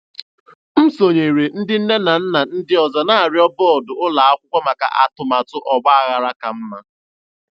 M sonyeere ndị nne na nna ndị ọzọ na-arịọ bọọdụ ụlọ akwụkwọ maka atụmatụ ọgbaghara ka mma.